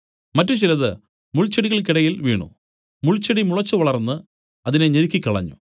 മറ്റു ചിലത് മുൾച്ചെടികൾക്കിടയിൽ വീണു മുൾച്ചെടി മുളച്ചു വളർന്ന് അതിനെ ഞെരുക്കിക്കളഞ്ഞു